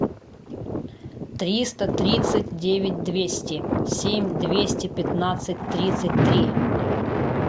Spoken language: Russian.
триста тридцать девять двести семь двести пятнадцать тридцать три